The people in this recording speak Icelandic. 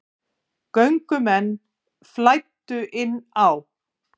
Göngumenn flæddu inn á